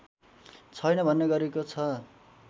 छैन भन्ने गरिएको छ